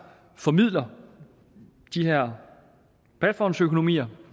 formidler de her platformsøkonomier